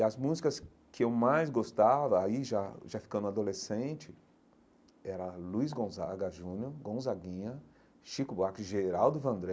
E as músicas que eu mais gostava, aí já já ficando adolescente, era Luiz Gonzaga Jr., Gonzaguinha, Chico Buarque, Geraldo Vandré.